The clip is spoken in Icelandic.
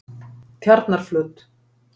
Tjarnarflöt